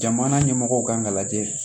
Jamana ɲɛmɔgɔw kan ka lajɛ